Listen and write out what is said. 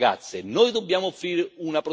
Noi dobbiamo offrire una prospettiva.